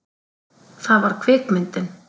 Það var kvikmyndin